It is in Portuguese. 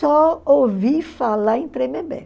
Só ouvi falar em Tremembé.